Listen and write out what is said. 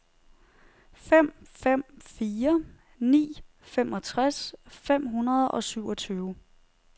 fem fem fire ni femogtres fem hundrede og syvogtyve